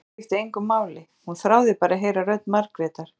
Úlpan skipti engu máli, hún þráði bara að heyra rödd Margrétar.